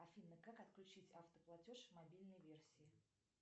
афина как отключить автоплатеж в мобильной версии